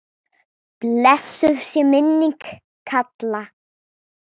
Blessuð sé minning Kalla.